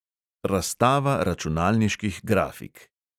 Razstava računalniških grafik.